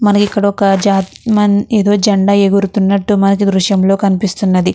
మనకి ఇక్కడొక ఒక ఏదో జెండా ఎగురుతున్నట్టు మనకు ఈ దృశంలో కనిపిస్తున్నది.